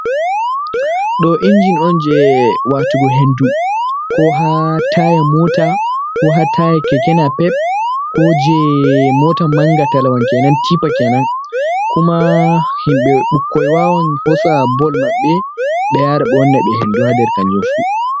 Ɗo injin on jei watugo hendu, ko ha taya mota, ko ha taya keke NAPEP, ko jei mota mangatalawa kenan, tipa kenan. Kuma himɓe, ɓukkoi wawan hosa bol maɓɓe ɓe yara ɓe wanna ɓe hendu ha nder kanjum fu.